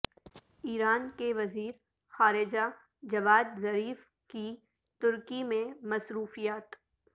ایران کے وزیر خارجہ جواد ظریف کی ترکی میں مصروفیات